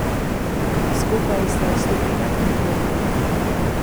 Skupaj sta stopila k mikrofonu.